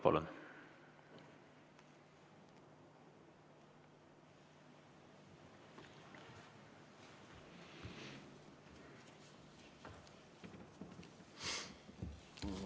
Palun!